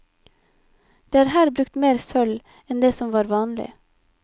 Det er her brukt mer sølv enn det som var vanlig.